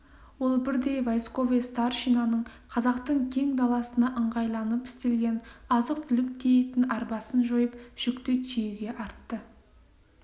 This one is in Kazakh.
ол бірден войсковой старшинаның қазақтың кең даласына ыңғайланып істелген азық-түлік тиейтін арбасын жойып жүкті түйеге артты